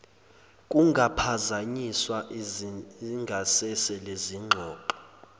kungaphazanyiswa ingasese lezingxoxo